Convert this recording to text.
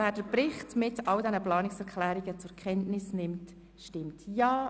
Wer den Bericht mit allen angenommenen Planungserklärungen zur Kenntnis nimmt, stimmt Ja.